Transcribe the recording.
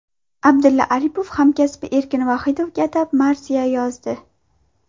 Abdulla Oripov hamkasbi Erkin Vohidovga atab marsiya yozdi .